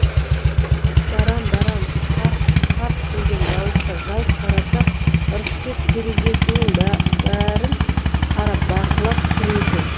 барам барам қарқ қарқ күлген дауысқа жалт қарасақ ырысбек терезесінен бәрін қарап бақылап тұр екен